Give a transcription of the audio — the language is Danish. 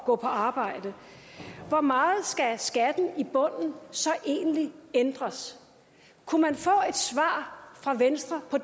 gå på arbejde hvor meget skal skatten i bunden så egentlig ændres kunne man få et svar fra venstre på